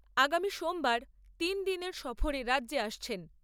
সোমবার তিন দিনের সফরে রাজ্যে আসছেন।